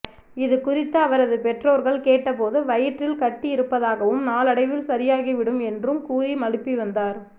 இதுகுறித்து அவரது பெற்றோர்கள் கேட்டபோது வயிற்றில் கட்டி இருப்பதாகவும் நாளடைவில் சரியாகிவிடும் என்றும் கூறி மழுப்பி வந்தார்